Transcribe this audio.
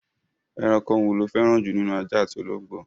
Ẹranko wo lo fẹ́ràn jù nínú ajá àti ológbò?